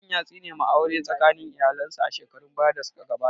Tsohon ya tsine wa aure tsakanin iyalen su a shekarun baya da su ka gabata